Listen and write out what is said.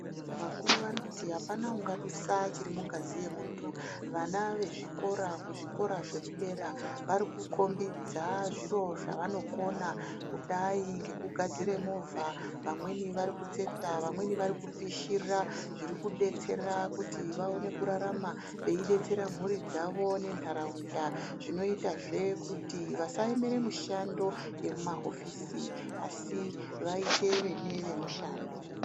Wakuru anoti hapana angadusa zviri mungazi yemundu, wana wezvikora, zvikora zvedera wari kukhombidza zviro zvawangakona kudai ngekugadzira movha, mwamweni wari kutsetsa, wamweni warikupishira zviri kubetsera kuti waone kubetsera mhuri yawo nenharaunda, zvinoitazve kuti wasaemere mishando yemumahofisi asi waite newemushando.